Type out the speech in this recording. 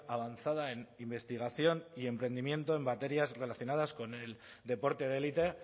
avanzada en investigación y emprendimiento en materias relacionadas con el deporte de élite